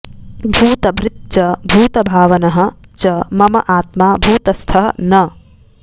भूतभृत् च भूतभावनः च मम आत्मा भूतस्थः न